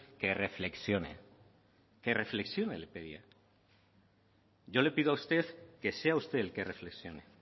que reflexione que reflexione le pedía yo le pido a usted que sea usted el que reflexione